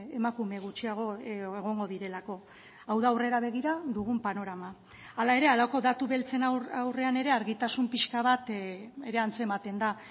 emakume gutxiago egongo direlako hau da aurrera begira dugun panorama hala ere halako datu beltzen aurrean ere argitasun pixka bat ere antzematen da